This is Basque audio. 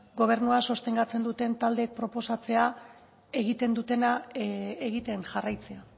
gobernua sostengatzen duten taldeek proposatzea egiten dutena egiten jarraitzea